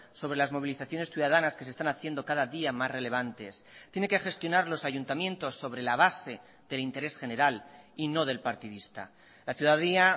sobre las movilizaciones ciudadanas que se están haciendo cada día más relevantes tiene que gestionar los ayuntamientos sobre la base del interés general y no del partidista la ciudadanía